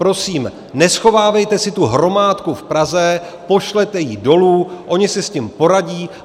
Prosím, neschovávejte si tu hromádku v Praze, pošlete ji dolů, oni si s tím poradí.